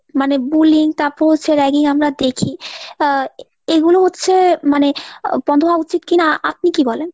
মানে bullying তারপর হচ্ছে ragging আমরা আমরা দেখি এ~ এইগুলো হচ্ছে মানে আহ বন্ধ হওয়া উচিৎ কিনা আ~ আপনি কি বলেন?